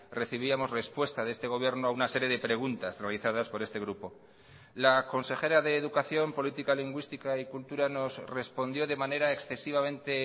recibíamos respuesta de este gobierno a una serie de preguntas realizadas por este grupo la consejera de educación política lingüística y cultura nos respondió de manera excesivamente